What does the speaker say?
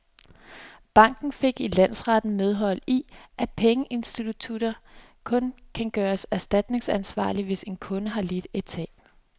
Banken fik i landsretten medhold i, at pengeinstitutter kun kan gøres erstatningsansvarlige, hvis en kunde har lidt et tab.